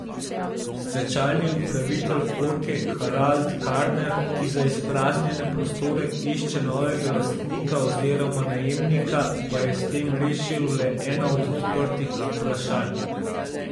Stečajni upravitelj Orke Harald Karner, ki za izpraznjene prostore išče novega lastnika oziroma najemnika, pa je s tem rešil le eno od odprtih vprašanj.